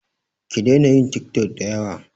Ki daina yin tik tok da yawa